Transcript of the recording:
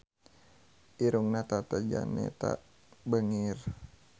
Irungna Tata Janeta bangir